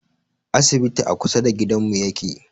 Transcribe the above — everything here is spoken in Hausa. Asibitin a kusa da gidanmu yake